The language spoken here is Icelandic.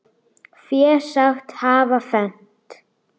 Fé sagt hafa fennt.